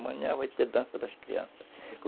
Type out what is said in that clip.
Amanhã vai ter dança das crianças.